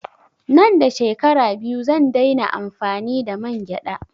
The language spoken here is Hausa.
Nan da shekara biyu zan dai na amfani da mangyaɗa